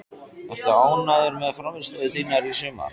Ertu ánægður með frammistöðu þína í sumar?